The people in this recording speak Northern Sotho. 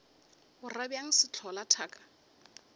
o ra bjang sehlola thaka